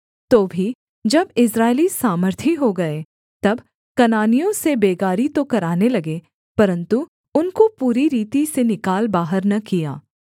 तो भी जब इस्राएली सामर्थी हो गए तब कनानियों से बेगारी तो कराने लगे परन्तु उनको पूरी रीति से निकाल बाहर न किया